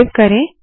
save करे